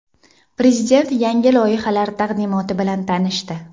Prezident yangi loyihalar taqdimoti bilan tanishdi.